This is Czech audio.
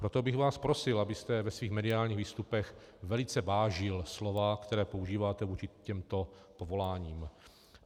Proto bych vás prosil, abyste ve svých mediálních výstupech velice vážil slova, která používáte vůči těmto povoláním.